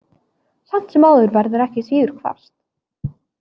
Samt sem áður verður ekki síður hvasst.